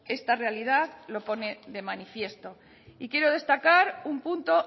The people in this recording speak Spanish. esta realidad lo pone de manifiesto y quiero destacar un punto